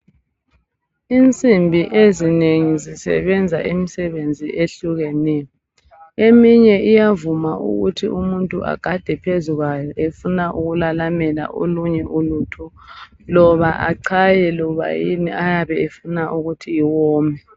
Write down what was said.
Insimbi ezinengi zisebenza imisebenzi ehlukeneyo. Eminye iyavuma ukuthi umuntu agade phezu kwayo efuna ukulalamela olunye uluthu loba achaye loba yini ayabe efuna iwome.